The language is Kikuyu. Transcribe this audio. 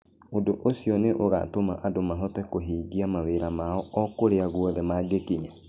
Ũndũ ũcio nĩ ũgaatũma andũ mahote kũhingia mawĩra mao o kũrĩa guothe mangĩkinya.